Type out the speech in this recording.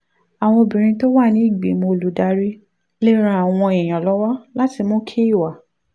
àwọn obìnrin tó wà nínú ìgbìmọ̀ olùdarí lè ran àwọn èèyàn lọ́wọ́ láti mú kí ìwà